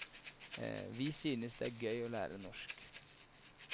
Vi synes det er gøy å lære norsk.